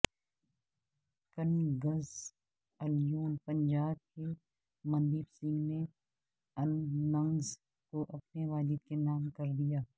Kings eleven Punjab کے مندیپ سنگھ نے innings کو اپنے والد کے نام کردیا